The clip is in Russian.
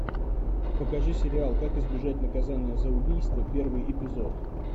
покажи сериал как избежать наказания за убийство первый эпизод